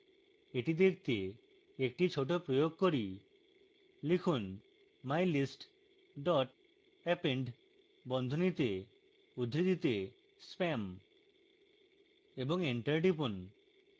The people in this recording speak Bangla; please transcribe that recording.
এটি দেখতে একটি dot প্রয়োগ করি লিখুন mylist dot append বন্ধনীতে উদ্ধৃতিতে spam এবং enter টিপুন